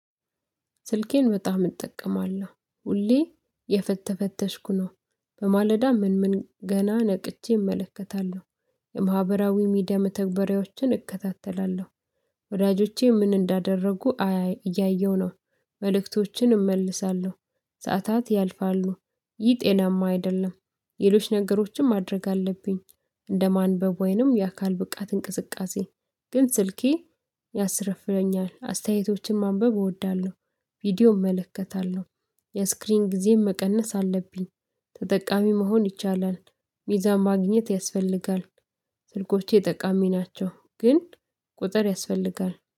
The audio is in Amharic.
ስልኬን በጣም እጠቀማለሁ ሁሌ እየፈተሽኩ ነው በማለዳ ምን ምን ገና ነቅቼ እመለከታለሁ። የማህበራዊ ሚዲያ መተግበሪያዎችን እከታተላለሁ። ወዳጆቼ ምን እንዳደረጉ እያየው ነው። መልእክቶችን እመልሳለሁ። ሰዓታት ያልፋሉ። ይህ ጤናማ አይደለም። ሌሎች ነገሮችን ማድረግ አለብኝ። እንደማንበብ ወይንም የአካል ብቃት እንቅስቃሴ። ግን ስልኬ ያስረፍደኛል አስተያየቶችን ማንበብ እወዳለሁ። ቪዲዮ እመለከታለሁ። የስክሪን ጊዜ መቀነስ አለብኝ። ተጠቃሚ መሆን ይቻላል። ሚዛን ማግኘት ያስፈልጋል። ስልኮቼ ጠቃሚ ናቸው ግን ቁጥር ያስፈልጋል